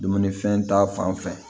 Dumunifɛn ta fanfɛ